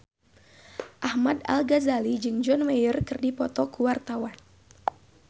Ahmad Al-Ghazali jeung John Mayer keur dipoto ku wartawan